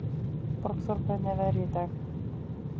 Borgþór, hvernig er veðrið í dag?